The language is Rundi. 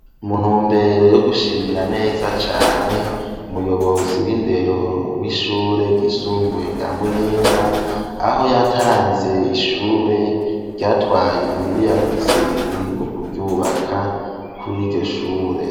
Mu ntumbere yo gushimira neza cane umuyobozi w'indero w'ishure ry'isumbuye rya Muyinga, aho yatanze ishure ryatwaye imiriyaridi zibiri mu kuryubaka kur'iryo shure.